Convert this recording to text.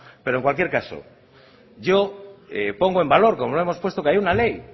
pero en cualquier caso yo pongo en valor como lo hemos puesto que haya una ley